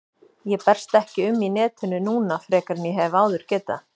Ég berst ekki um í netinu núna frekar en ég hef áður getað.